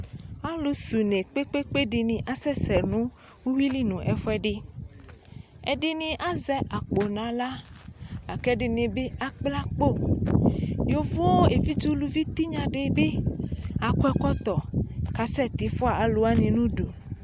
Aalʋ sɛ ʋne kpekpekeɖini asɛsɛ nʋ uwuili nʋ ɛfuɛɖi Ɛɖini azɛ akpo n'aɣla, la k'ɛɖinibi, akpla akpoYovo evidze ʋlʋvi tinyaɖibi, akɔ ɛkɔtɔ k'asɛ tii fua alʋwani n'ʋɖʋ